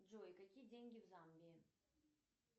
джой какие деньги в замбии